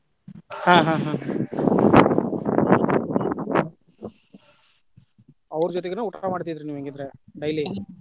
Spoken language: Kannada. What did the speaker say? ಹಾ ಹಾ ಹಾ ಅವ್ರ ಜೊತಿನ ಊಟಾ ಮಾಡ್ತಿದ್ರಿ ನೀವ್ ಹಂಗಿದ್ರೆ, daily ?